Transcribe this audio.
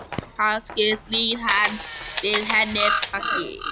Kannski snýr hann við henni baki?